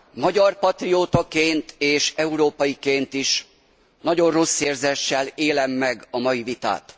Magyar patriótaként és európaiként is nagyon rossz érzéssel élem meg a mai vitát.